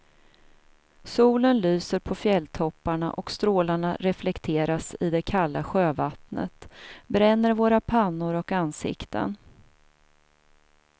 Solen lyser på fjälltopparna och strålarna reflekteras i det kalla sjövattnet, bränner våra pannor och ansikten.